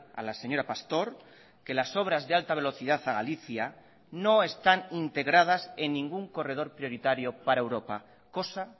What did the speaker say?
a la señora pastor que las obras de alta velocidad a galicia no están integradas en ningún corredor prioritario para europa cosa